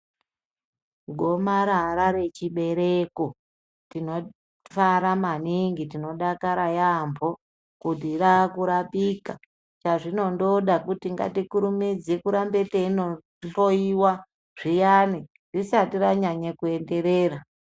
Goamarara rechibereko tinofara maningi tinodakara yambo kuti rakurapika chazvinondoda kuti ngatikurumidze kurambe teindohloyiwa zviyani risati ranyanya kuenderera.